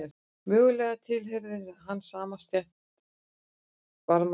Mögulega tilheyrði hann samt stétt varðmanna.